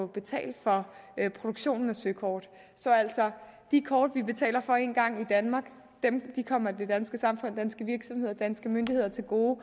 betale for produktionen af søkort så altså de kort vi betaler for én gang i danmark kommer det danske samfund danske virksomheder og danske myndigheder til gode